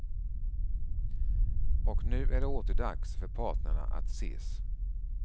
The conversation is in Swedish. Och nu är det åter dags för parterna att ses.